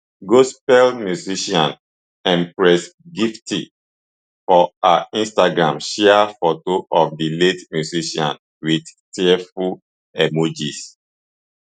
gospel musician empress gifty for her instagram share foto of di late musician wit tearful emojis